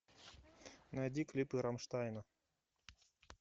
найди клипы рамштайна